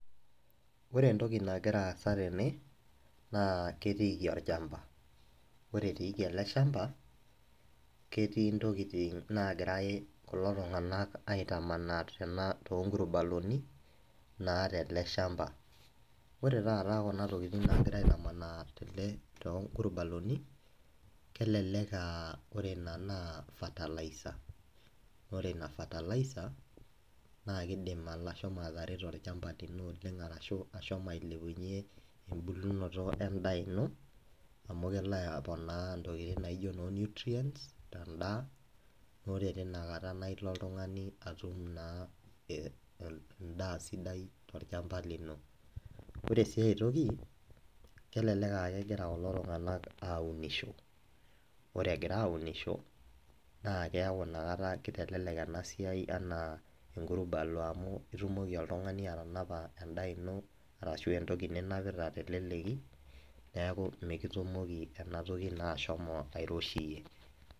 ore entoki nagira aasa tene na ketiiki olchampa. ore etiiki ele shampa, ketii ntokitin naagirae kulotunganak aitamanaa too nkurbaloni, naa tele shampa, ore taata kuna tokitin naagirae aetamanaa, tele to nkurbaloni, kelelek aa ore ina naa fertilizer ire ina fertilizer naa kidim atareto olchama lino oleng, ashu ashomo ailepunye, ebulunoto edaa ino amu kelo aponaa intokitin naijo noo nutrients tedaa. ore teina kata naa ilo oltungani atum naa ee edaa sidai tolchampa lino. ore siii ae toki, kelelek aa kegira kulo tunganak auniasho, ore egira aunisho naa keeku ina kata kitelelek ena siai anaa enkurbalo amu itumoki oltungani atanapa edaa ino ashu entoki ninapita teleleki, neeku mikitumoki ena toki naa ashomo airoshiyie.